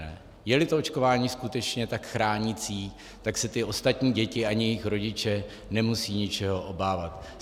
Je-li to očkování skutečně tak chránící, tak se ty ostatní děti ani jejich rodiče nemusí ničeho obávat.